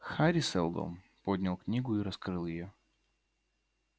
хари сэлдон поднял книгу и раскрыл её